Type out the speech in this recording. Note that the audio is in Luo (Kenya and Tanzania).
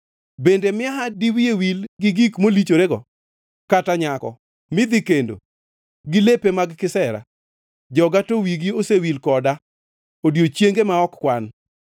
Bende miaha diwiye wil gi gik molichorego, kata nyako midhi kendo gi lepe mag kisera? Joga to wigi osewil koda, odiechienge ma ok kwan.